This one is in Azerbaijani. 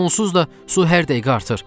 Onsuz da su hər dəqiqə artır.